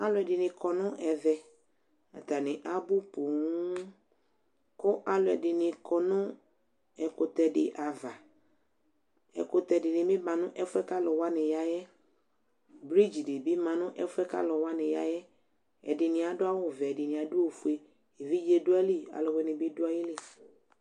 Alʊɛdini kɔ nʊ ɛvɛ, atanɩ abʊ ƒoo Kʊ alʊɛdinɩ kɔ nu ɛkʊtɛ ava Ɛkutɛ dinɩbɩ ma nɛfyɛ buaku alʊ yaɛ Fredzi dibi ma nɛfue buaku alu wani yaɛ Ɛdini adu awuvɛ, ɛdini adu awufue Evidze du ayili, ɔlʊwʊinɩ bi du ayɩli